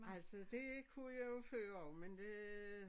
Altså det kunne jeg jo før også men det